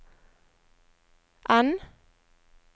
N